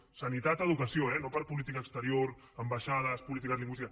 sanitat educació eh no per política exterior ambaixades política lingüística